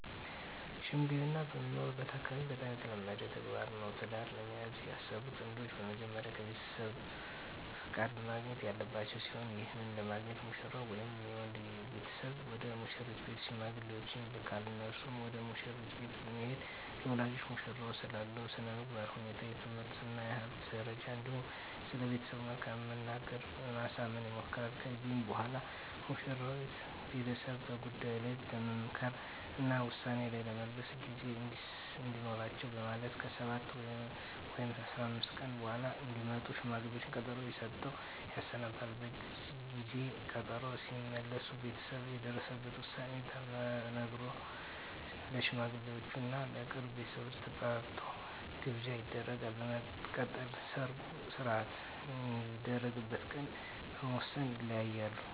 ሽምግልና በምኖርበት አካባቢ በጣም የተለመደ ተግባር ነው። ትዳር ለመያዝ ያሰቡ ጥንዶች በመጀመሪያ ከቤተሰብ ፍቃድ ማግኘት ያለባቸው ሲሆን ይህንንም ለማግኘት ሙሽራው ወይም የወንድ ቤተሰብ ወደ ሙሽሪት ቤት ሽማግሌዎችን ይልካል። እነርሱም ወደ መሽሪት ቤት በመሄድ ለወላጆቿ ሙሽራው ስላለው የስነምግባር ሁኔታ፣ የትምህርት እና የሀብት ደረጃ እንዲሁም ስለቤተሰቡ መልካምት በመናገር ለማሳመን ይሞክራሉ። ከዚህም በኋላ የሙሽሪት ቤተሰብ በጉዳዩ ላይ ለመምከር እና ውሳኔ ላይ ለመድረስ ጊዜ እንዲኖራቸው በማለት ከ7 ወይም 15 ቀን በኃላ እንዲመጡ ሽማግሌዎቹን ቀጠሮ ሰጥተው ያሰናብታሉ። በጊዜ ቀጠሮው ሲመለሱ ቤተሰብ የደረሰበትን ዉሳኔ ተናግሮ፣ ለሽማግሌወቹም እና የቅርብ ቤተሰብ ተጠርቶ ግብዣ ይደረጋል። በመቀጠልም የሰርጉ ሰነሰርአት የሚደረግበት ቀን በመወስን ይለያያሉ።